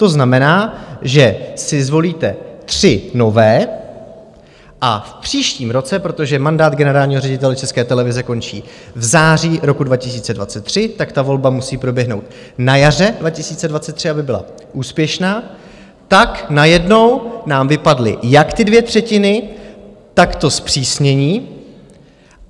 To znamená, že si zvolíte tři nové a v příštím roce, protože mandát generálního ředitele České televize končí v září roku 2023, tak ta volba musí proběhnout na jaře 2023, aby byla úspěšná, tak najednou nám vypadly jak ty dvě třetiny, tak to zpřísnění.